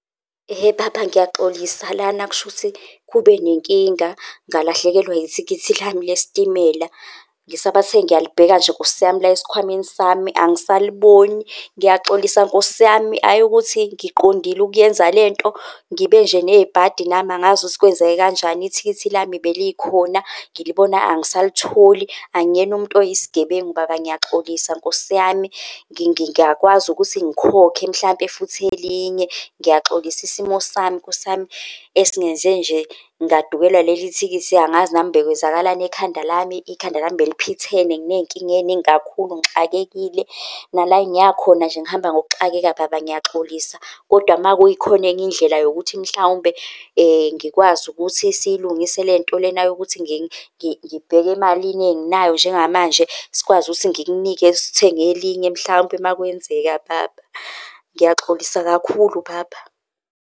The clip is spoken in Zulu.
Ehhe baba, ngiyaxolisa lana, kushuthi kube nenkinga ngalahlekelwa ithikithi lami lesitimela. Ngisabathe ngiyalibeka nje Nkosi yami la esikhwameni sami angisaliboni. Ngiyaxolisa Nkosi yami, hhayi ukuthi ngiqondile ukuyenza lento, ngibe nje nebhadi nami angazi ukuthi kwenzeke kanjani ithikithi lami belikhona ngilibona, angisayitholi. Angiyena umuntu oyisigebengu baba, ngiyaxolisa Nkosi yami, ngingakwazi ukuthi ngikhokhe mhlampe futhi elinye. Ngiyaxolisa isimo sami Nkosi yami, esingenze nje ngadukelwa ileli thikithi. Angazi nami bekwenzakalani ekhanda lami, ikhanda lami beliphithene, nginey'nkinga ey'ningi kakhulu, ngixakekile. Nala engiya khona nje ngihamba ngokuxakeka baba ngiyaxolisa kodwa makukhona enye indlela yokuthi mhlawumbe ngikwazi ukuthi siyilungise lento lena yokuthi ngibheke emalini enginayo njengamanje sikwazi ukuthi ngikunike sithenge elinye. Mhlawumbe makwenzeka baba, ngiyaxolisa kakhulu baba.